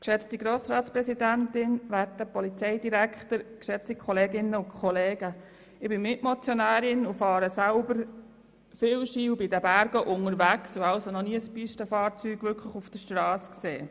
Ich fahre selber viel Ski, bin oft in den Bergen unterwegs und habe noch nie ein Pistenfahrzeug auf der Strasse gesehen.